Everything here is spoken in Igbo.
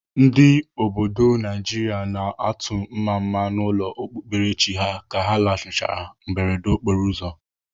Ndị obodo Naijiria na-atụ mmamma n'ụlọ okpukperechi ha ka ha lanarịchara mberede okporoụzọ.